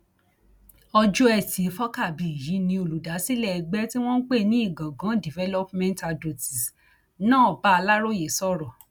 ọjọ etí furcabee yìí ni olùdásílẹ ẹgbẹ tí wọn ń pè ní ìgangan development adótes náà bá aláròye sọrọ